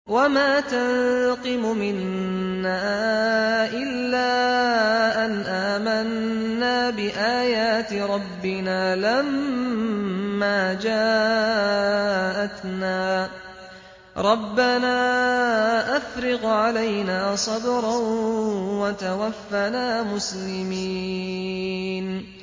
وَمَا تَنقِمُ مِنَّا إِلَّا أَنْ آمَنَّا بِآيَاتِ رَبِّنَا لَمَّا جَاءَتْنَا ۚ رَبَّنَا أَفْرِغْ عَلَيْنَا صَبْرًا وَتَوَفَّنَا مُسْلِمِينَ